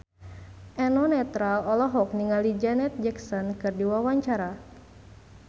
Eno Netral olohok ningali Janet Jackson keur diwawancara